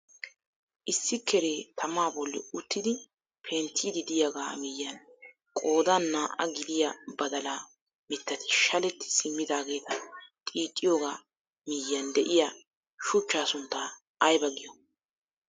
Issi kere tamaa bolli uttidi penttiidi de'iyaagaa miyiyaan qoodan naa"aa gidiyaa badalaa mittati shaletti simidaageta xiixxiyoogaa miyiyaan de'iyaa shuchchaa sunttaa aybaa giyoo?